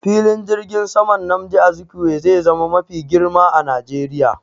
Filin jirgin saman Nnamdi Azikiwe zai zama mafi girma a Najeriya